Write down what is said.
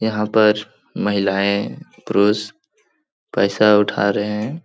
यहाँ पर महिलायें पुरुष पैसा उठा रहे हैं ।